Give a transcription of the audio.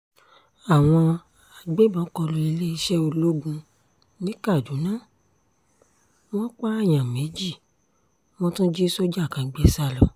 àwọn agbébọn kọ lu iléeṣẹ́ ológun ní kaduna wọn pààyàn méjì wọ́n tún jí sójà kan gbé sá lọ